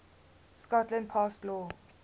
scotland passed law